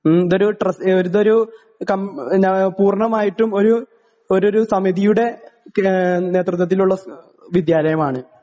ഉം ഇതൊരു ട്രസ് ഇതൊരു കം നാ പൂർണ്ണമായിട്ടും ഒരു ഒരുരു സമിതിയുടെ പി ഏഹ് നേതൃത്വത്തിലുള്ള സ് വിദ്യാലയമാണ്.